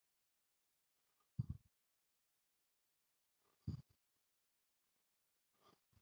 Þörf varð á sérstakri stétt manna sem fékkst við að reikna.